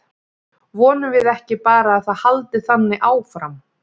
Vonum við ekki bara að það haldi þannig áfram?